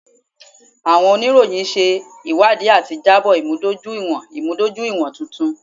Awọn oniroyin ṣe iwadii ati jabo imudojuiwọn imudojuiwọn tuntun.